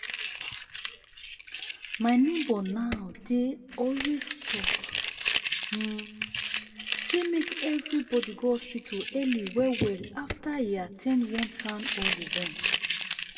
my neighbor now dey always talk um say make everybody go hospital early well well after e at ten d one town hall event